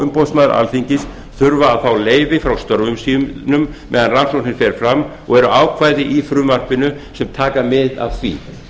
umboðsmaður alþingis þurfa að fá leyfi frá störfum sínum meðan rannsóknin fer fram og eru ákvæði í frumvarpinu sem taka mið af því